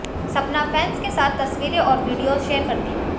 सपना फैंस के साथ तस्वीरें और वीडियोज शेयर करती है